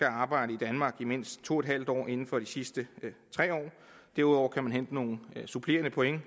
arbejdet i danmark i mindst to en halv år inden for de sidste tre år derudover kan man hente nogle supplerende point